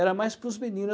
Era mais para os meninos.